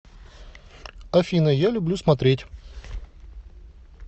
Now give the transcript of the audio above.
афина я люблю смотреть